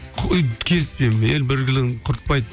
қой келіспеймін ел бірлігін құртпайды